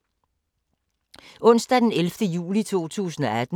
Onsdag d. 11. juli 2018